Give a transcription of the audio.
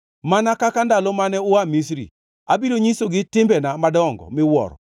“Mana kaka ndalo mane ua Misri, abiro nyisogi timbena madongo miwuoro.”